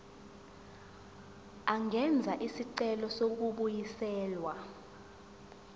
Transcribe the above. angenza isicelo sokubuyiselwa